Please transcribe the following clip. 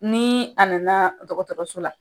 Ni a nana dɔgɔtɔrɔso la,